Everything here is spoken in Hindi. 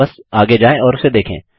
बस आगे जाएँ और उसे देखें